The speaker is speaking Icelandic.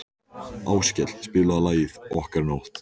Áskell, spilaðu lagið „Okkar nótt“.